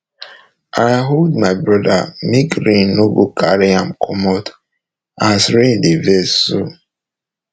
i hold my brother make rain no go carry am commot as rain dey vex so